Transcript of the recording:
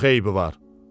Çox eybi var.